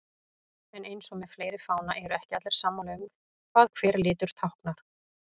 En eins og með fleiri fána eru ekki allir sammála um hvað hver litur táknar.